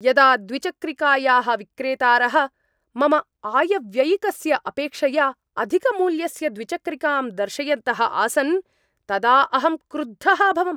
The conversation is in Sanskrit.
यदा द्विचक्रिकायाः विक्रेतारः मम आयव्ययिकस्य अपेक्षया अधिकमूल्यस्य द्विचक्रिकां दर्शयन्तः आसन् तदा अहं क्रुद्धः अभवम्।